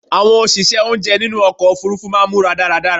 Àwọn òṣìṣẹ́ oúnjẹ nínú ọkọ̀ òfurufú máà ń múra dáradára